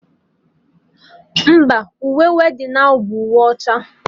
Mba, uwe weddinụ ahụ bụ uwe ọcha